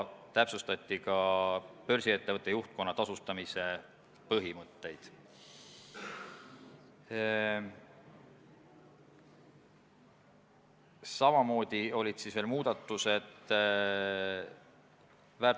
Me kuulsime veel seda, et läbi on tehtud ka kooskõlastusring ja Sotsiaalministeeriumil ei ole selles suhtes probleeme.